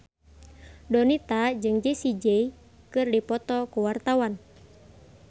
Donita jeung Jessie J keur dipoto ku wartawan